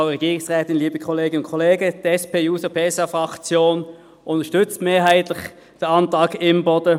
Die SP-JUSO-PSA-Fraktion unterstützt mehrheitlich den Antrag Imboden.